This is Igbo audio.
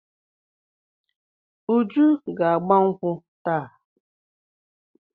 Uju ga-agba nkwụ́ taa.